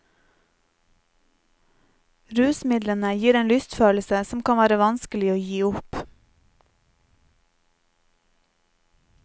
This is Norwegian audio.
Rusmidlene gir en lystfølelse som kan være vanskelig å gi opp.